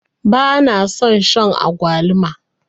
bana son Shan agwaluma